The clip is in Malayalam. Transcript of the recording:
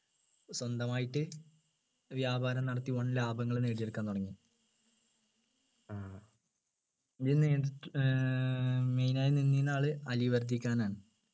സ്വന്തമായിട്ട് വ്യാപാരം നടത്തി വൻ ലാഭങ്ങൾ നേടിയെടുക്കാൻ തുടങ്ങി ഇതിൽ ഏർ main ആയിട്ട് നിന്നിന്ന ആള് അലി വർധി ഖാൻ ആണ്